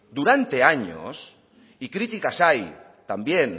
durante años y críticas hay también